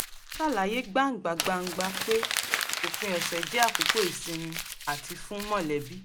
ó ṣàlàyé gbangba-gbàngba pé òpin ọ̀sẹ̀ jẹ́ àkókò ìsinmi àti fún mọ̀lẹ́bí